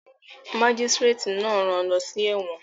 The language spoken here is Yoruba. Mágísírátì náà rán an lọ sí ẹ̀wọ̀n